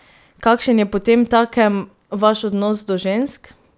Kakšen je potemtakem vaš odnos do žensk?